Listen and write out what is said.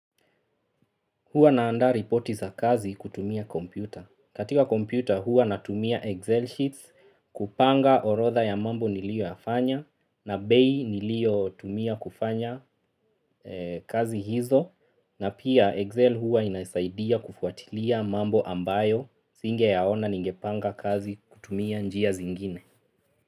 Huwa naandaa ripoti za kazi kutumia kompyuta. Katika kompyuta huwa natumia Excel sheets, kupanga orodha ya mambo nilio yafanya, na bei nilio tumia kufanya kazi hizo, na pia Excel huwa inasaidia kufuatilia mambo ambayo, singe yaona ningepanga kazi kutumia njia zingine.